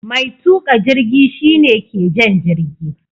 Mai tuka jirgi shi ne ke jan jirgi.